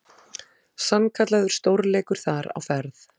Sannkallaður stórleikur þar á ferð.